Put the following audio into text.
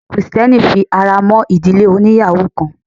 Ẹ̀sin krìstẹ́nì fi ara mọ́ ìdílé oníyàwò kan.